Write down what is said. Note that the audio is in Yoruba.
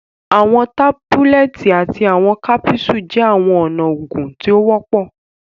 Àwọn tábúlẹ̀tì àti àwọn kápúsù jẹ́ àwọn ọ̀nà oògùn tí o wọpọ